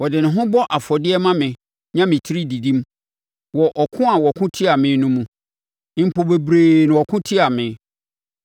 Ɔde ne ho bɔ afɔdeɛ ma me nya me tiri didim wɔ ɔko a wɔko tiaa me no mu, mpo bebree na wɔko tia me.